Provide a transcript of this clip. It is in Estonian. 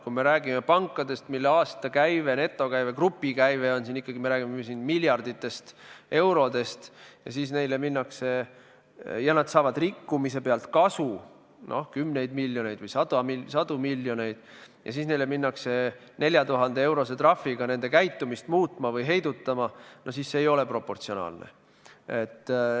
Kui me räägime pankadest, mille aastakäive, netokäive, grupikäive on ikkagi miljardites eurodes ja mis saavad rikkumise pealt kasu kümneid või sadu miljoneid, ning siis minnakse 4000-eurose trahviga nende käitumist muutma või heidutama, siis see ei ole proportsionaalne.